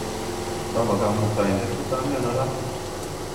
Indama Kamuktaindet kotamiono ra?